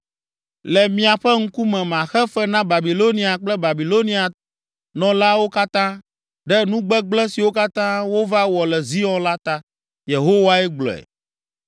“Le miaƒe ŋkume maxe fe na Babilonia kple Babilonianɔlawo katã, ɖe nu gbegblẽ siwo katã wova wɔ le Zion la ta.” Yehowae gblɔe.